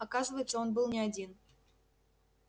оказывается он был не один